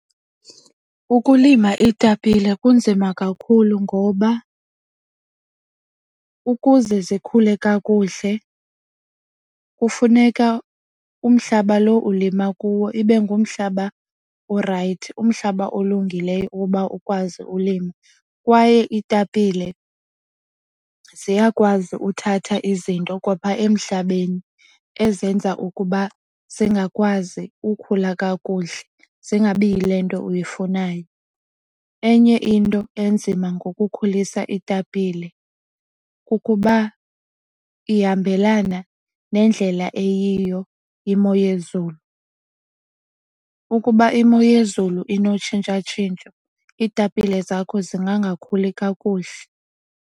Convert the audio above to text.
Ukulima iitapile kunzima kakhulu ngoba ukuze zikhule kakuhle kufuneka umhlaba lo ulima kuwo ibe ngumhlaba orayithi, umhlaba olungileyo ukuba ukwazi ulima. Kwaye iitapile ziyakwazi uthatha izinto kwapha emhlabeni ezenza ukuba zingakwazi ukukhula kakuhle zingabi yile nto uyifunayo. Enye into enzima ngokukhulisa iitapile kukuba ihambelana nendlela eyiyo imo yezulu. Ukuba imo yezulu inotshintsha-tshintsho iitapile zakho zingakakhuli kakuhle.